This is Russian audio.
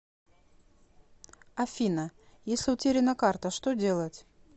афина если утеряна карта что делать